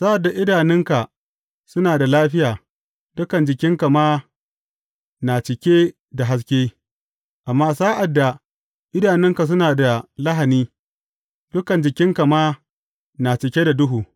Sa’ad da idanunka suna da lafiya, dukan jikinka ma na cike da haske, amma sa’ad da idanunka suna da lahani, dukan jikinka ma na cike da duhu.